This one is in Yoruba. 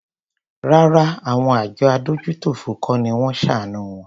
Rárá àwọn àjọ adójútòfò kọ́ ni wón ṣàánù wọn.